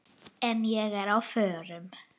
En ég er á förum.